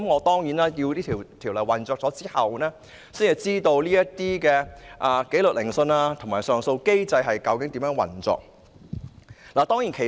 當然，《條例草案》實施之後，我們才能知道紀律聆訊和上訴機制究竟如何運作。